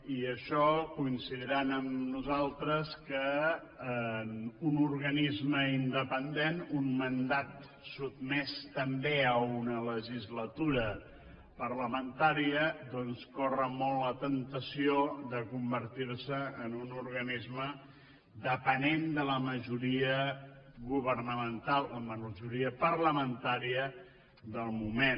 i això coincidiran amb nosaltres que un organisme independent un mandat sotmès també a una legislatura parlamentària doncs corre molt la temptació de convertir se en un organisme depenent de la majoria governamental de la majoria parlamentària del moment